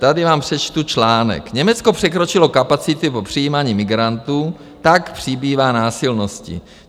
Tady vám přečtu článek: Německo překročilo kapacity v přijímání migrantů, tak přibývá násilností.